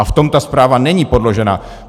A v tom ta zpráva není podložena.